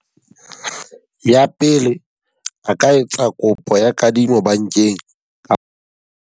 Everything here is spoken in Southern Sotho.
Ya pele, a ka etsa kopo ya kadimo bankeng .